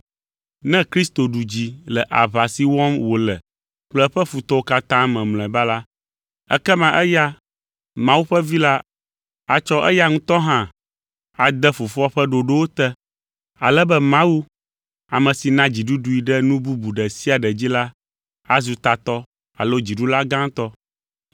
Ne Kristo ɖu dzi le aʋa si wɔm wòle kple eƒe futɔwo katã me mlɔeba la, ekema eya, Mawu ƒe Vi la, atsɔ eya ŋutɔ hã ade Fofoa ƒe ɖoɖowo te, ale be Mawu, ame si na dziɖuɖui ɖe nu bubu ɖe sia ɖe dzi la azu tatɔ alo dziɖula gãtɔ.